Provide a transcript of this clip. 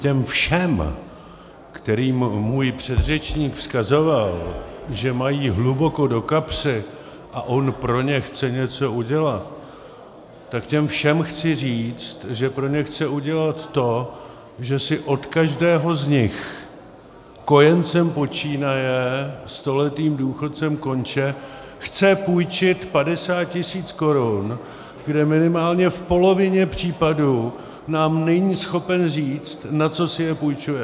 Těm všem, kterým můj předřečník vzkazoval, že mají hluboko do kapsy a on pro ně chce něco udělat, tak těm všem chci říct, že pro ně chce udělat to, že si od každého z nich, kojencem počínaje, stoletým důchodcem konče, chce půjčit 50 tisíc korun, kde minimálně v polovině případů nám není schopen říci, na co si je půjčuje.